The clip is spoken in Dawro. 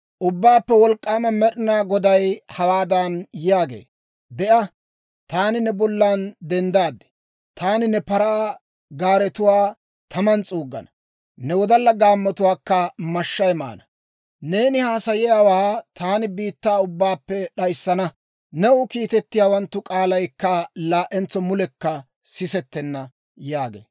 Ubbaappe Wolk'k'aama Med'inaa Goday hawaadan yaagee; «Be'a, taani ne bollan denddaad! Taani ne paraa gaaretuwaa taman s'uuggana; ne wodalla gaammatuwaakka mashshay maana. Neeni haasayiyaawaa taani biittaa ubbaappe d'ayissana; new kiitettiyawanttu k'aalaykka laa"entso mulekka sisettenna» yaagee.